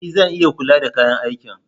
E! Zan iya kula da kayan aikin.